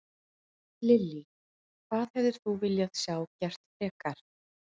Lillý: Hvað hefðir þú viljað sjá gert frekar?